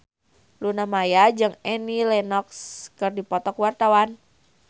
Luna Maya jeung Annie Lenox keur dipoto ku wartawan